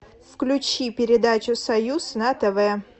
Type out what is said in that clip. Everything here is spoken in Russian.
включи передачу союз на тв